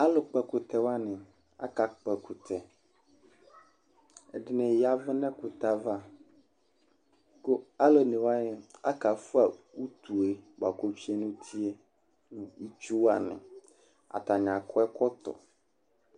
alu Kpɔ ɛkutɛ wʋani aka kpɔ ɛkutɛ, ɛdini yavu nu ɛkutɛ ava, ku alu one wʋani aka fʋa utue bʋa ku otsʋe nu utie nu itsu wʋani, ata akɔ ɛkɔtɔ